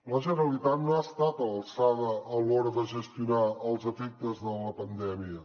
la generalitat no ha estat a l’alçada a l’hora de gestionar els efectes de la pandèmia